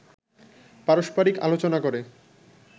পারস্পারিক আলোচনা করে